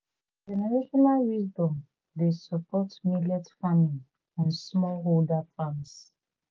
generational wisdom dey support millet farming on smallholder farms.